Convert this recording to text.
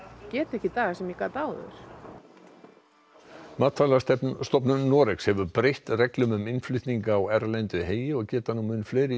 get ekki í dag sem ég gat áður Noregs hefur breytt reglum um innflutning á erlendu heyi og geta nú mun fleiri